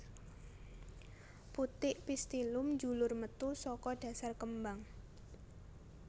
Putik pistillum njulur metu saka dhasar kembang